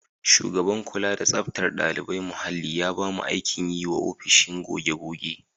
Shugaban kula da tsaftar ɗalibai muhalli ya ba mu aikin yi wa ofishin goge-goge.